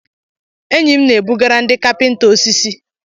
Enyi m na-ebugara ndị kapịnta osisi.